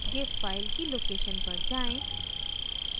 gif file की location पर जाएँ